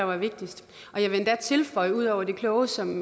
var vigtigst og jeg vil endda tilføje ud over det kloge som